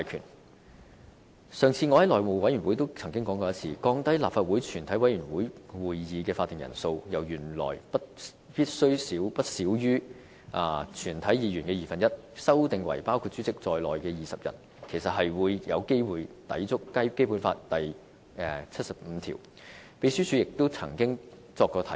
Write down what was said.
我上次在內務委員會也曾經說過，降低立法會全體委員會會議的法定人數，由原來必須不少於全體議員的二分之一，修訂為包括主席在內的20人，其實有機會抵觸《基本法》第七十五條，秘書處亦就此曾作出過提醒。